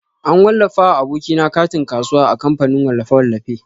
An wallafa wa aboki na katin kasuwa a kamfanin wallafe-wallafe.